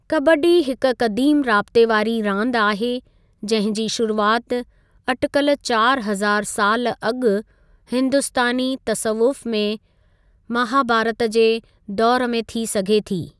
कबड्डी हिकु क़दीम राबते वारी रांदि आहे जंहिं जी शुरूआति अटिकल चारि हज़ारु सालु अॻु हिंदुस्तानी तसवुफ़ु में महाभारत जे दौर में थी सघे थी।